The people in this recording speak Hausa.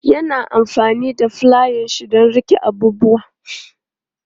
Ya na amfani da fulayanshi don riƙe abubuwa.